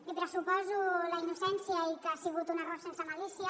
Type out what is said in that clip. li pressuposo la innocència i que ha sigut un error sense malícia